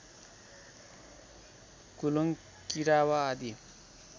कुलुङ किरावा आदि